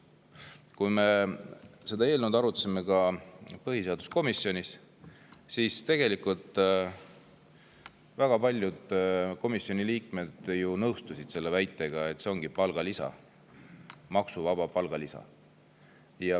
Kui me seda eelnõud arutasime põhiseaduskomisjonis, siis tegelikult väga paljud komisjoni liikmed nõustusid väitega, et see ongi maksuvaba palgalisa.